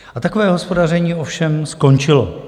A takové hospodaření ovšem skončilo.